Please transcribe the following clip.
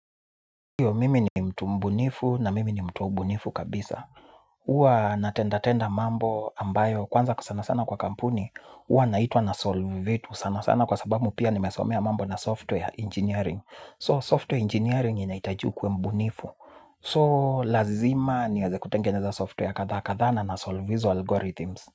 Huyo mimi ni mtu mbunifu na mimi ni mtu wa ubunifu kabisa. Huwa na tenda tenda mambo ambayo kwanza sana sana kwa kampuni. Uwa naitua na solve vitu sana sana kwa sabamu pia nimesomea mambo na software engineering. So software engineering inaitajiukue mbunifu. So lazima ni eze kutengeneza software kadha kadhana na solve izo algorithms.